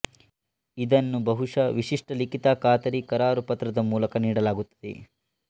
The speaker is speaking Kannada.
ಇದನ್ನು ಬಹುಶಃ ವಿಶಿಷ್ಟ ಲಿಖಿತ ಖಾತರಿ ಕರಾರು ಪತ್ರದ ಮೂಲಕ ನೀಡಲಾಗುತ್ತದೆ